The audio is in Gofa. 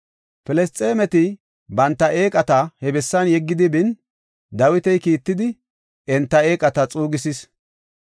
Filisxeemeti banta eeqata he bessan yeggidi bin, Dawiti kiittidi enta eeqata xuugisis.